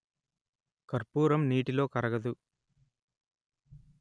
కర్పూరం నీటిలో కరగదు